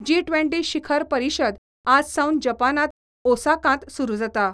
जी ट्वेंटी शिखर परिशद आज सावन जपानांत ओसाकांत सुरू जाता.